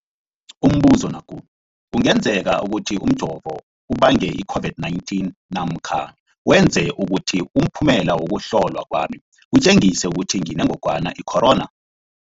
Umbuzo, kungenzekana ukuthi umjovo ubange i-COVID-19 namkha wenze ukuthi umphumela wokuhlolwa kwami utjengise ukuthi nginengogwana i-corona?